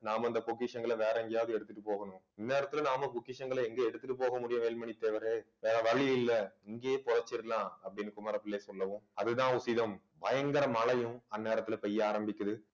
நாம இந்த பொக்கிஷங்களை வேற எங்கயாவது எடுத்துட்டு போகனும் இந்நேரத்துல நாம பொக்கிஷங்களை எங்க எடுத்துட்டு போக முடியும் வேலுமணி தேவரே வேற வழி இல்ல இங்கேயே பொதைச்சிறலாம் அப்படீன்னு குமாரப்பிள்ளை சொல்லவும் அதுதான் உசிதம் பயங்கர மழையும் அந்நேரத்துல பெய்ய ஆரம்பிக்குது